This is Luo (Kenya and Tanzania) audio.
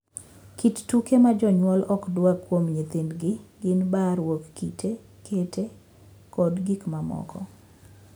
Kit tuke ma jonyuol ok dwar kuom nyithindgi gin baaruok kite, kete, kod gik mamoko.